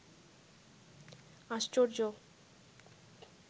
আশ্চর্য